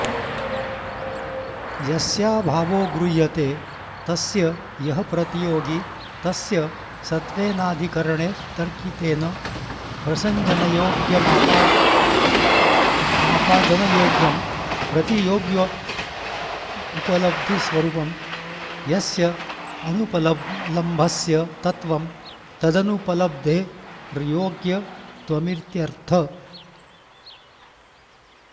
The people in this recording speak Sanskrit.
यस्याभावो गृह्यते तस्य यः प्रतियोगी तस्य सत्त्वेनाधिकरणे तर्कितेन प्रसञ्जनयोग्यमापादनयोग्यं प्रतियोग्युपलब्धिस्वरूपं यस्य अनुपलम्भस्य तत्त्वं तदनुपलब्धेर्योग्यत्वमित्यर्थः